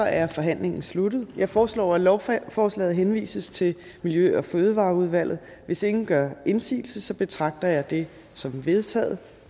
er forhandlingen sluttet jeg foreslår at lovforslaget henvises til miljø og fødevareudvalget hvis ingen gør indsigelse betragter jeg det som vedtaget